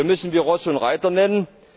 Hier müssen wir Ross und Reiter nennen.